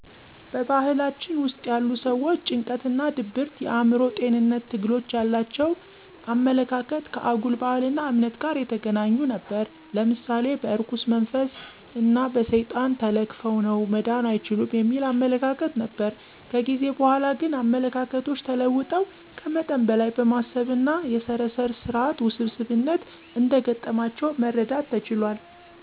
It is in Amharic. በባህላችን ውስጥ ያሉ ሠዎች ጭንቀት ወይም ድብርት የአእምሮ ጤንነት ትግሎች ያላቸው አመለካከት ከአጉል ባህል እና እምነት ጋር የተገናኙ ነበር። ለምሳሌ በእርኩስ መንፈስ እን በሠይጣን ተለክፈው ነው መዳን አይችሉም የሚል አመለካከት ነበር። ከጊዜ በኃላ ግን አመለካከቶች ተለውጠው ከመጠን በለይ በማሰብ እና የሠረሰር ስራት ውስብስብነት እንደ ገጠማቸው መረዳት ተችሏል።